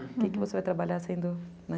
O que você vai trabalhar sendo, né?